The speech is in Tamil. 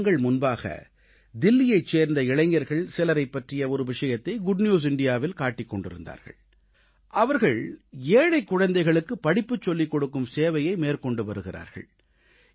சில தினங்கள் முன்பாக தில்லியைச் சேர்ந்த இளைஞர்கள் சிலரைப் பற்றி ஒரு விஷயத்தை குட் நியூஸ் இந்தியாவில் காட்டிக் கொண்டிருந்தார்கள் அவர்கள் ஏழைக் குழந்தைகளுக்குப் படிப்புச் சொல்லிக் கொடுக்கும் சேவையை மேற்கொண்டு வருகிறார்கள்